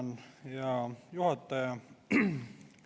Tänan, hea juhataja!